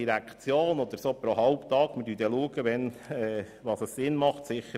Vielleicht erfahren wir sie halbtäglich.